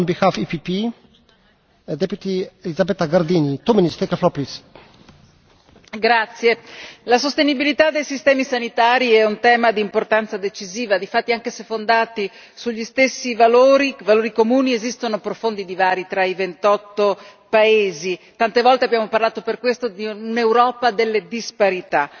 Signor Presidente, onorevoli colleghi, la sostenibilità dei sistemi sanitari è un tema di importanza decisiva, difatti, anche se fondati sugli stessi valori, valori comuni, esistono profondi divari tra i ventotto paesi, tante volte abbiamo parlato per questo di un'Europa delle disparità.